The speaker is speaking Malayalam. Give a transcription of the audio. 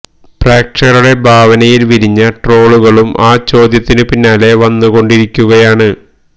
പ്രേക്ഷകരുടെ ഭാവനയിൽ വിരിഞ്ഞ ട്രോളുകളും ആ ചോദ്യത്തിനു പിന്നാലെ വന്നു കൊണ്ടിരിക്കുകയാണ്